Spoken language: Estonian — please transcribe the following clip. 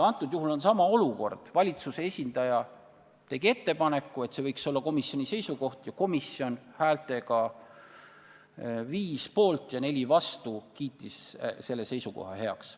Antud juhul oli sama olukord – valitsuse esindaja tegi ettepaneku, et see võiks olla komisjoni seisukoht, ning komisjon kiitis selle seisukoha 5 poolthäälega ja 4 vastuhäälega heaks.